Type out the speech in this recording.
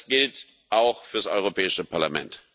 Das gilt auch für das Europäische Parlament.